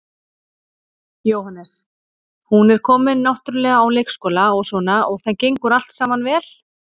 Jóhannes: Hún er komin náttúrulega á leikskóla og svona og það gengur allt saman vel?